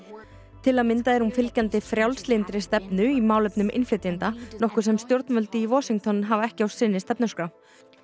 til að mynda er hún fylgjandi frjálslyndri stefnu í innflytjendamálum nokkuð sem stjórnvöld í Washington hafa ekki á sinni stefnuskrá